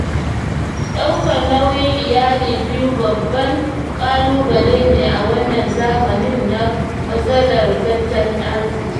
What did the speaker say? Ɗaukar nauyin Iyali biyu babban ƙalubale ne a wannan zamanin na matsalar tattalin arziki.